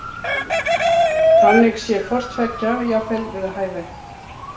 Þannig sé hvorttveggja jafnvel við hæfi.